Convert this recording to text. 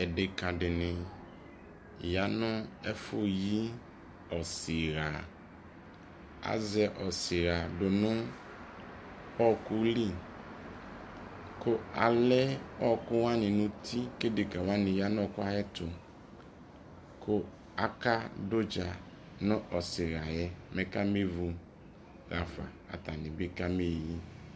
edeka deni ya no efo yi ɔseha, azɛ ɔseha do no ɔko li ko alɛ ɔko wa ne no uti ko edeka wane ya no ɔko ayɛto ko aka do udza no ɔseha yɛ mɛ kame vu afa ko atane bi kabe yi